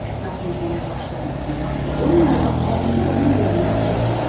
Və ətrafınızda nə baş verməsindən asılı olmayaraq, əlinizi onun üzərindən çəkməyin.